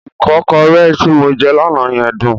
Ìkọ́kọrẹ́ tí mo jẹ́ lánàá yẹn dùn.